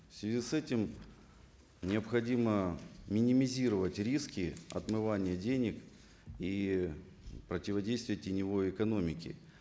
в связи с этим необходимо минимизировать риски отмывания денег и противодействие теневой экономике